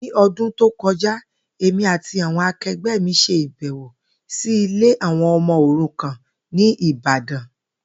Ní o̩dún tó ko̩já, èmi àti àwo̩n ake̩gbé̩ mi s̩e ìbè̩wò sí ilé àwo̩n o̩mo̩ òrukàn ní Ìbàdàn